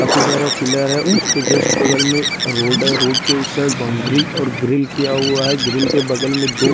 काफी सारा पिलर है उसके जस्ट बगल में रोड है रोड के उस साइड बाउनड्री और ग्रील किया हुआ है ग्रील के बगल में दो --